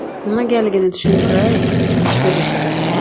Nimagaligini tushuntiray”, dedi Shirin.